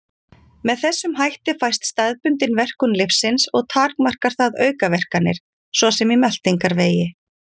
Með þessum hætti fæst staðbundin verkun lyfsins og takmarkar það aukaverkanir, svo sem í meltingarvegi.